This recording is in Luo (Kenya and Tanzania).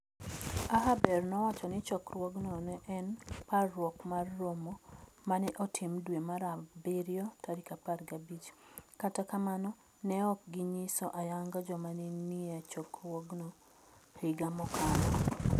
Ahaber nowacho ni chokruogno ne en "parruok mar romo ma ne otim dwe mar abirio 15", kata kamano ne ok ginyiso ayanga joma ne nie chokruogno higa mokalo.